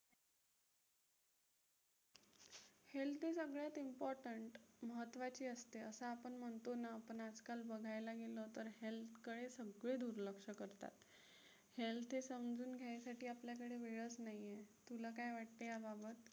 health हे सगळ्यात important महत्वाची असते असं आपण म्हणतो ना आपण आजकाल बघायला गेलो तर health कडे सगळे दुर्लक्ष करतात. health हे समजून घ्यायसाठी आपल्याकडे वेळच नाहीये. तुला काय वाटतंय याबाबत?